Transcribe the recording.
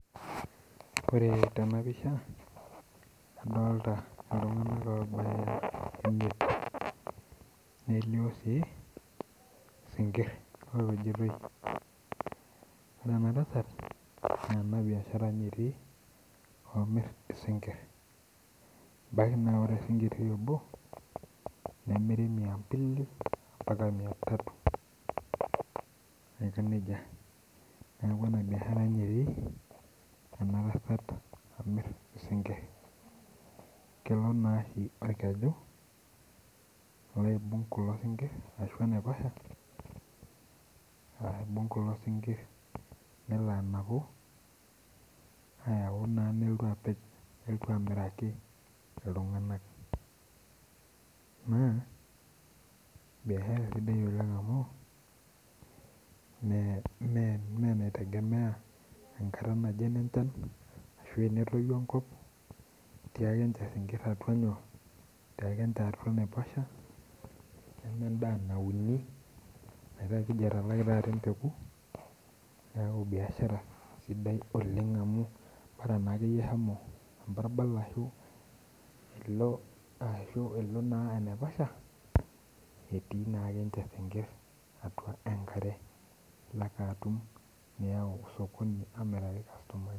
Orw tenapisha nadolita ltunganak obaya imiet nelio si sinkir opejitoi na ore enatasat na enabiashara etii namir isinkir nemiri miambili mbaka miatatu neaku inabiashara etii inatasat amir isinkir kelo orkeju alo aibung kulo sinkir ashu enaiposha aibung kulo sinkir nelo anapu ayau na nelotu apej nelotu amiraki ltunganak naa biashara sidai amu meinitegemea echan ashu tenetoyu enkoo nemendaa nauni metaa keji atalaki taata embeku bora akeyie ashomo embarbal nilo naa ashu enaiposha etii ninye sinkir atua enkare nilo ayau osokoni amiraki irkastomani